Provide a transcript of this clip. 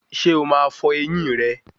Ṣé o máa fọ ẹyín rẹ